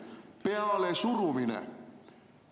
Pealesurumine!